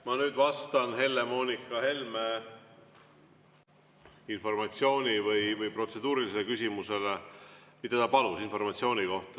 Ma nüüd vastan Helle-Moonika Helme protseduurilisele küsimusele, kus ta palus informatsiooni.